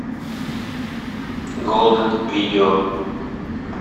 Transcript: голден видео